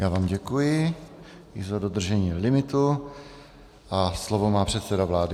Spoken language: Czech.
Já vám děkuji i za dodržení limitu a slovo má předseda vlády.